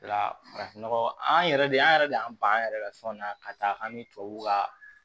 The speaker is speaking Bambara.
La farafin nɔgɔ an yɛrɛ de an yɛrɛ de y'an ban an yɛrɛ ka fɛnw na ka taa an ni tubabuw ka